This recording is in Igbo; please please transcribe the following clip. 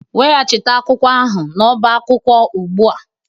Weghachite akwụkwọ ahụ n'ọba akwụkwọ ugbu a